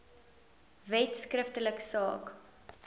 wet skriftelik saak